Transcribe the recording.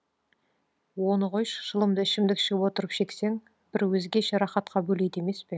оны қойшы шылымды ішімдік ішіп отырып шексең бір өзгеше рахатқа бөлейді емес пе